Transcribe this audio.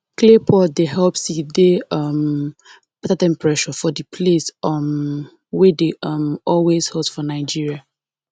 clay pot dey help seed dey um better temperature for the place um wey dey um always hot for nigeria